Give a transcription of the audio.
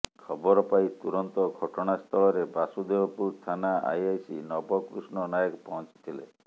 ଖବର ପାଇ ତୁରନ୍ତ ଘଟଣାସ୍ଥଳରେ ବାସୁଦେବପୁର ଥାନା ଆଇଆଇସି ନବକୃଷ୍ଣ ନାୟକ ପହଞ୍ଚିଥିଲେ